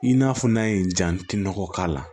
I n'a fɔ n'a ye jantinɔgɔ k'a la